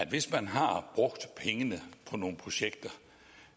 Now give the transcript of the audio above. hvis man har brugt pengene på nogle projekter